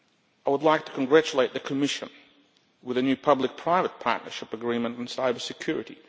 I would like to congratulate the Commission on a new public private partnership agreement on cyber security.